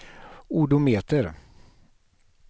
odometer